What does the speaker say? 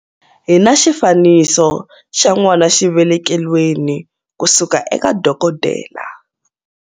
Hi na xifaniso xa n'wanaxivelekelweni kusuka eka dokodela.